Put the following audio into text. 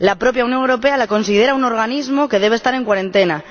La propia Unión Europea la considera un organismo que debe estar en cuarentena.